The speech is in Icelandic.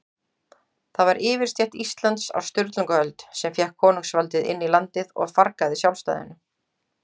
Það var yfirstétt Íslands á Sturlungaöld, sem fékk konungsvaldið inn í landið og fargaði sjálfstæðinu.